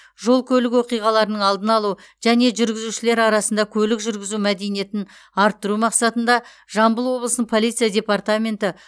жол көлік оқиғаларының алдын алу және жүргізушілер арасында көлік жүргізу мәдениетін арттыру мақсатында жамбыл облысының полиция департаменті